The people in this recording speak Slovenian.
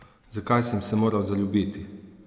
Zakaj sem se moral zaljubiti?